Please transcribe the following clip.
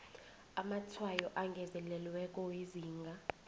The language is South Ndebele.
amatshwayo angezelelweko wezinga